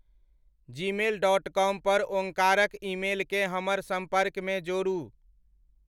Gmail dot com पर ओंकारक ईमेलकें हमर संपर्क मे जोड़ू।